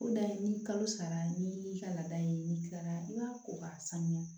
O dan ye ni kalo sara n'i y'i ka laada ye n'i kila la i b'a ko k'a sanuya